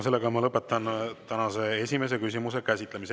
Sellega ma lõpetan tänase esimese küsimuse käsitlemise.